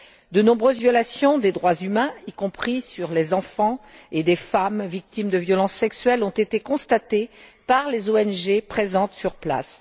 De nombreuses violations des droits humains, y compris des enfants et des femmes victimes de violences sexuelles, ont été constatées par les ONG présentes sur place.